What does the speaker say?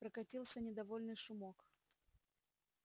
прокатился недовольный шумок